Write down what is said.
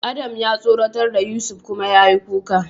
Adam ya tsoratar da Yusuf kuma yayi kuka.